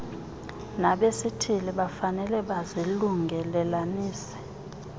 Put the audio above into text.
nabesithili bafanele bazilungelelanise